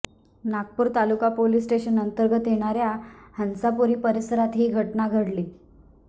नागपूर तालुका police station अंतर्गत येणाऱ्या हंसापुरी परिसरात ही घटना घडली